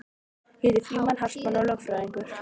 Ég heiti Frímann Hartmann og er lögfræðingur